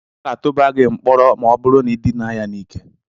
Ọ ga-atụba gị mkpọrọ ma ọ bụrụ na ị dina ya n'ike.